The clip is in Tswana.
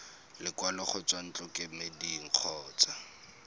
lekwalo go tswa ntlokemeding kgotsa